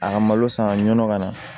A ka malo san ka ɲɔnɔ ka na